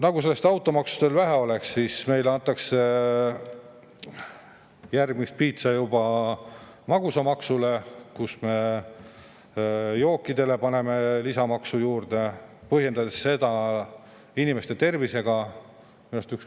Nagu automaksust veel vähe oleks, meile antakse järgmiseks piitsa juba magusamaksuga: jookidele paneme lisamaksu juurde, põhjendades seda inimeste tervise.